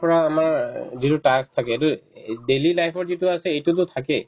পৰা আমাৰ অ যিটো task থাকে দে এই daily life ত যিটো আছে এইটোতো থাকে